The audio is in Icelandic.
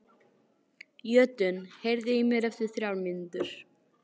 Jötunn, heyrðu í mér eftir þrjár mínútur.